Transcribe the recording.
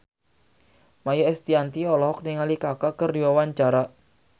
Maia Estianty olohok ningali Kaka keur diwawancara